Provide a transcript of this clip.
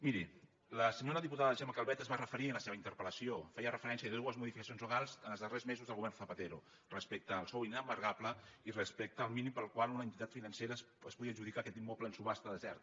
miri la senyora diputada gemma calvet s’hi va referir en la seva interpel·lació feia referència a dues modificacions legals dels darrers mesos del govern zapatero respecte al sou inembargable i respecte al mínim pel qual una entitat financera es podia adjudicar aquest immoble en subhasta deserta